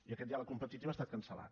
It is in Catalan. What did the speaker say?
i aquest diàleg competitiu ha estat cancel·lat